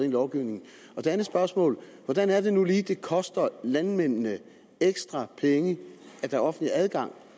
i lovgivningen et andet spørgsmål hvad er det nu lige det koster landmændene af ekstra penge at der er offentlig adgang